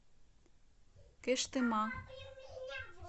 кыштыма